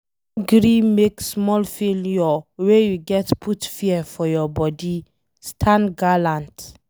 No gree make small failure wey you get put fear for your body, stand gallant